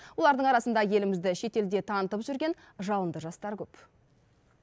олардың арасында елімізді шетелде танытып жүрген жалынды жастар көп